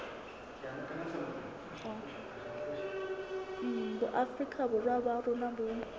boafrika borwa ba rona bo